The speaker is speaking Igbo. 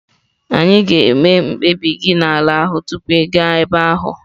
Ị ga-eme mkpebi gị n'ala ahụ tupu ị gaa ebe ahụ.